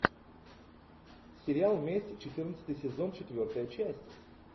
сериал месть четырнадцатый сезон четвертая часть